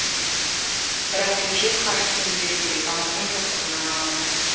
бірақ бюджет қаржысын игеру керек амалдың жоқтығынан алады